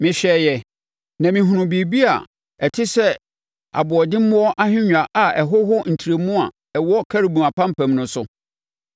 Mehwɛeɛ, na mehunuu biribi te sɛ aboɔdemmoɔ ahennwa a ɛhoho ntrɛmu a ɛwɔ Kerubim apampam no so.